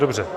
Dobře.